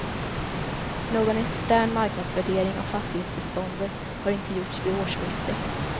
Någon extern marknadsvärdering av fastighetsbeståndet har inte gjorts vid årsskiftet.